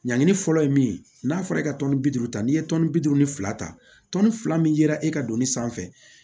Ɲangini fɔlɔ ye min ye n'a fɔra e ka tɔni bi duuru ta n'i ye bi duuru ni fila ta tɔni fila min yera e ka donni sanfɛ